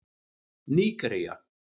Nígería